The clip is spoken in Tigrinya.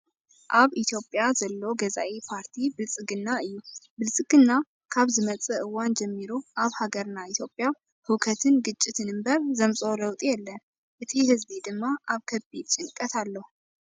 ኣብ ኢትዮጵያ ዘሎ ገዛኢ ፓርቲ ብልፅግና እዩ። ብልፅግና ካብ ዝመፅእ እዋን ጀሚሩ ኣብ ሃገርና ኢትዮጵያ ህውከትን ግጭትን እምበር ዘምፅኦ ለውጢ የለን። እቲ ህዝቢ ድማ ኣብ ከቢድ ጭንቀት ኣሎ።